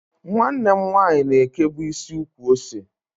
Nwanne m nwanyi na ekebu isi ukwu-ose.